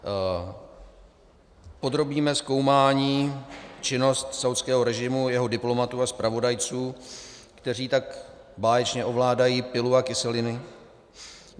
Podrobíme zkoumání činnost saúdského režimu, jeho diplomatů a zpravodajců, kteří tak báječně ovládají pilu a kyseliny?